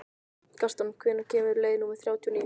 Gaston, hvenær kemur leið númer þrjátíu og níu?